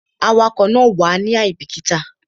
Awakọ̀ náà wàá ní àìbíkítà